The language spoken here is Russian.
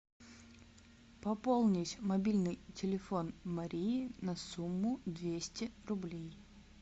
пополнить мобильный телефон марии на сумму двести рублей